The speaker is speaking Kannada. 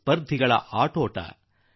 ಸ್ಪರ್ಧೆಗಳು ಶುರವಾಗಿವೆ